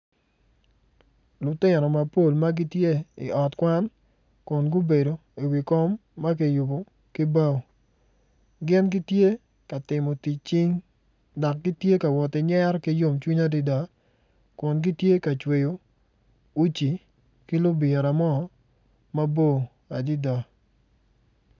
Lutino mapol ma gitye i ot kwan kun gubedo iwi kom ma kiyubo ki bao gin gitye ka timo tic cing dok gitye ka woti nyero ki yomcwiny adada kun gitye ka cweyo uci ki libira mo mabor adada.